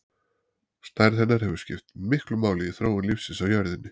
Stærð hennar hefur skipt miklu máli í þróun lífsins á jörðinni.